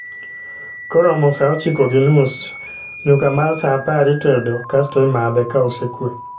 Koromo saa ochiko gi nus, nyuka mar sa apar itedo kasto imadhe ka osekwe